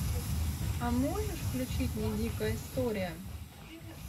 а можешь включить мне дикая история